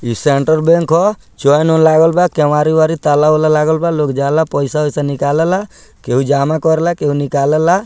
इ central bank ह चैन उन लागल बा केवारी-उवारी ताला-उला लागल बा लोग जाला पैसा उसा निकालेला केहू जामा करेला केहू निकालेला।